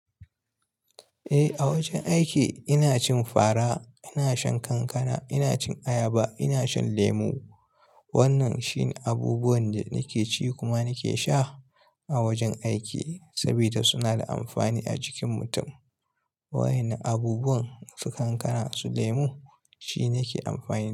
Eh, a wajen aiki ina cin fara, ina shan kankana, ina cin ayaba, ina shan lemu. Wannan shine abubuwan da nake ci kuma nake sha a wajen aiki saboda suna da amfani a jikin mutum. Waƴanne abubuwan, su kankana su lemu shi nake amfani.